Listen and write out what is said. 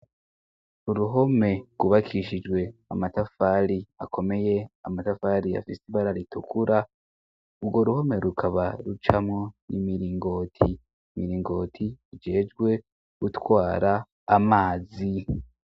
Uruhome gubakishijwe amatafali akomeye amatafali afise ibara ritukura urwo ruhome rukaba rucamo n'imiringoti, imiringoti ijejwe gutwara amazi.